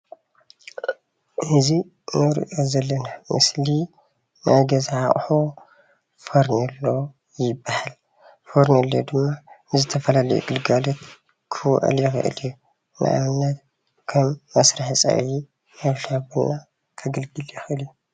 እዚ እንሪኦ ዘለና ምስሊ ናይ ገዛ ኣቁሑ ፌርኔሎ ይበሃል። ፌርኔሎ ድማ ንዝተፈላለዩ ግልጋሎት ኽውዕል ይኽእል እዩ። ንኣብነት ኸም መስርሒ ፀብሒ ፣ሻሂ ቡና ኸገልግል ይኽእል እዩ።